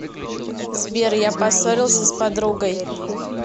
сбер я поссорился с подругой